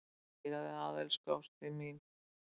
Það er svo gott að eiga þig að, elsku ástin mín.